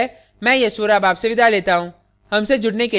यह स्क्रिप्ट प्रभाकर द्वारा अनुवादित है मैं यश वोरा अब आपसे विदा लेता हूँ